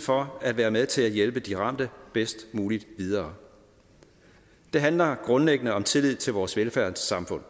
for at være med til at hjælpe de ramte bedst muligt videre det handler grundlæggende om tillid til vores velfærdssamfund